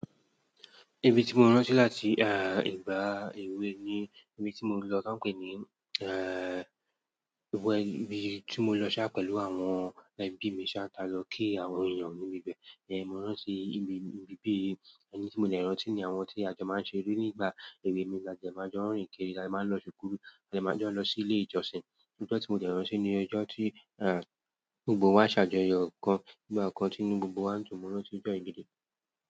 Ibi tí mo ránṣẹ́ láti, ah, ìgbà èwe ni ibi tí mo lọ, tọ́ pè é ní, ehen, ibo ibi tí mo lọ sá pẹ̀lú àwọn ẹbí mi ṣá ta lọ kí àwọn èèyàn níbi ibẹ̀. Ehen, mo rántí ibi, ibi bí i ẹni tí mo dẹ̀ rántí ni àwọn tí a jẹ máa ń ṣe eré ní ìgbà èwe mi. A jẹ máa jẹun orìn kiri, a jẹ máa lọ ṣùkú, a jẹ máa jẹun lọ sí ilé ìjọsìn. Íjọ́ tí mo dẹ̀ rántí ni ọjọ́ tí, ah, gbogbo wá ṣàjọyọ̀ kan, ní ìgbà kan tí gbogbo wa ń tún mọ́ rántí bẹ̀ gẹ́gẹ́.